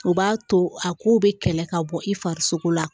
O b'a to a kow bɛ kɛlɛ ka bɔ i farisoko la